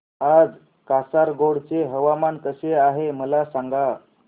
आज कासारगोड चे हवामान कसे आहे मला सांगा